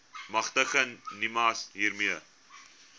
magtig nimas hiermee